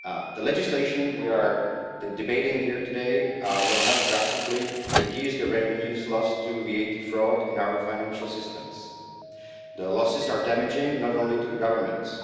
The legislation we are debating here today will help drastically reduce the revenues lost to VAT fraud in our financial systems. Their losses are damaging not only to the governments.